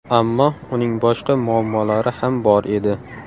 Ammo uning boshqa muammolari ham bor edi.